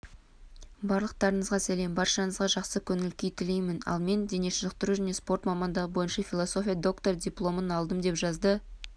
барлықтарыңызға сәлем баршаңызға жақсы көңіл күй тілеймін ал мен дене шынықтыру және спорт мамандығы бойынша философия докторы дипломын алдым деп жазды